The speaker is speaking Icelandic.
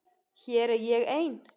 Hér er ég ein.